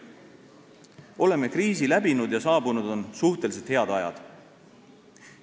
Oleme kriisi läbinud ja saabunud on suhteliselt head ajad.